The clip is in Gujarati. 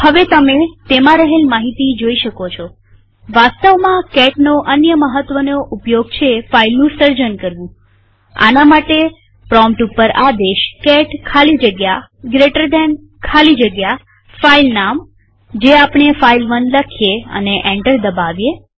હવે તમે તેમાં રહેલ માહિતી જોઈ શકો છોવાસ્તવમાં catનો અન્ય મહત્વનો ઉપયોગ છે ફાઈલનું સર્જન કરવુંઆના માટે પ્રોમ્પ્ટ ઉપર આદેશ કેટ ખાલી જગ્યા જીટી ખાલી જગ્યા ફાઈલ નામ જે આપણે ફાઇલ1 લઈએ અને એન્ટર દબાવીએ